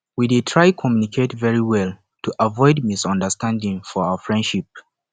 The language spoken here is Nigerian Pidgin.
we dey try communicate very well to avoid misunderstanding for our friendship